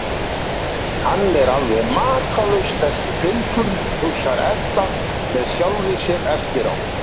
Hann er alveg makalaus, þessi piltur, hugsar Edda með sjálfri sér eftir á.